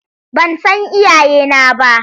Ban san iyayena ba.